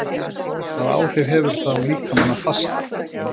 Hvaða áhrif hefur það á líkamann að fasta?